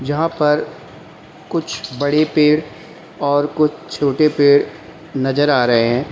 यहां पर कुछ बड़े पेड़ और कुछ छोटे पेड़ नजर आ रहे हैं।